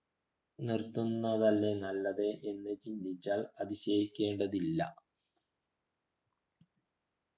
നിർത്തുന്നതല്ലേ നല്ലത് എന്ന് ചിന്തിച്ചാൽ അതിശയിക്കേണ്ടതില്ല